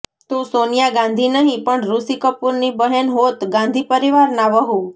તો સોનિયા ગાંધી નહીં પણ ઋષિ કપૂરની બહેન હોત ગાંધી પરિવારના વહુ